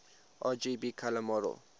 rgb color model